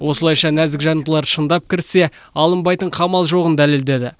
осылайша нәзік жандылар шындап кіріссе алынбайтын қамал жоғын дәлелдеді